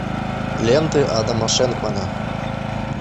ленты адама шенкмана